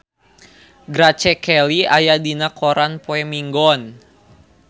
Grace Kelly aya dina koran poe Minggon